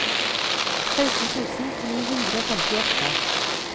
seksten tusen ni hundre og femtiåtte